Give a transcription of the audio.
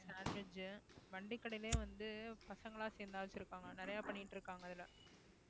sandwich வண்டிக்கடையிலேயே வந்து பசங்க எல்லாம் சேர்ந்து நிறைய பண்ணிட்டு இருக்காங்க இதுல